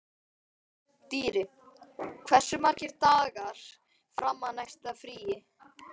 Dýri, hversu margir dagar fram að næsta fríi?